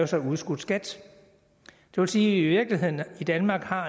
så udskudt skat det vil sige i virkeligheden i danmark har